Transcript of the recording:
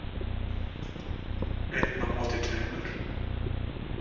Einn á móti tveimur.